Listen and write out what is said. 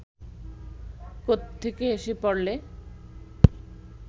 কোত্থেকে এসে পড়লে